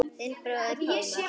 Þinn bróðir Pálmar.